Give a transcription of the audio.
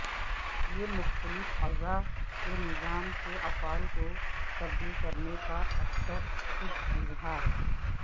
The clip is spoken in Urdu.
یہ مختلف اعضاء کے نظام کے افعال کو تبدیل کرنے کا اکثر خود اظہار